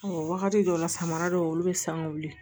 wagati dɔw la samara dɔw olu be sanga wili